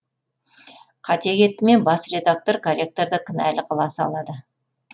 қате кетті ме бас редактор корректорды кінәлі қыла салады